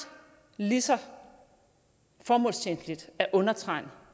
lige så formålstjenligt at undertegne